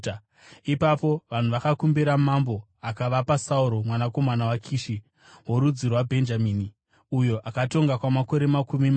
Ipapo vanhu vakakumbira mambo, akavapa Sauro mwanakomana waKishi, worudzi rwaBhenjamini, uyo akatonga kwamakore makumi mana.